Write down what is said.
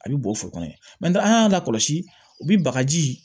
A bɛ bɔn foro kɔnɔ yen an y'a lakɔlɔsi u bi bagaji